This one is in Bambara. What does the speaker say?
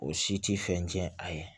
O si ti fɛn tiɲɛn a ye